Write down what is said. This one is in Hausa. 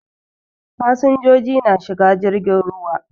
Fasinjoji na shiga jirgin ruwa.